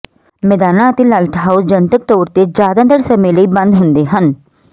ਮੈਦਾਨਾਂ ਅਤੇ ਲਾਈਟਹਾਊਸ ਜਨਤਕ ਤੌਰ ਤੇ ਜ਼ਿਆਦਾਤਰ ਸਮੇਂ ਲਈ ਬੰਦ ਹੁੰਦੇ ਹਨ